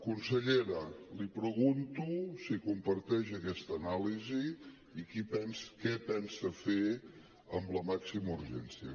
consellera li pregunto si comparteix aquesta anàlisi i què pensa fer amb la màxima urgència